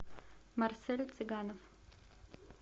марсель цыганов